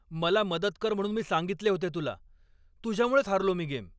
मला मदत कर म्हणून मी सांगितले होते तुला! तुझ्यामुळेच हारलो मी गेम!